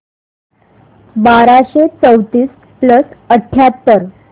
बाराशे चौतीस प्लस अठ्याहत्तर